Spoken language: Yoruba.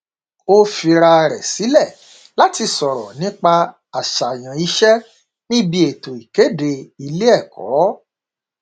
ó fira rẹ sílẹ láti sọrọ nípa àṣààyàn iṣẹ níbi ètò ìkéde ilé ẹkọ